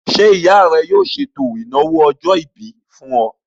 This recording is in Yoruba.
Ṣé ìyá rẹ yóò ṣètò ìnáwó ọjọ́-ìbí fún ọ?